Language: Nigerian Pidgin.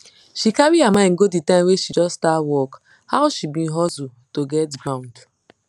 she carry her mind go de time wey she just start work how she bin hustle to get ground